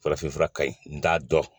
Farafinfura ka ɲi n'a dɔn